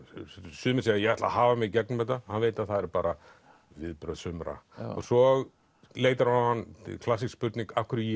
sumir segja ég ætla að hafa mig í gegnum þetta hann veit að það eru bara viðbrögð sumra svo leitar á hann klassísk spurning af hverju ég